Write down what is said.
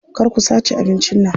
Kar ku sace abincin nan.